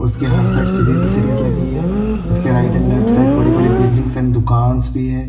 उसके हर side series ही सीरीज लगी है इसके राइट एंड लेफ्ट साइड बड़ी - बड़ी बिल्डिंगस एंड दुकानस भी है।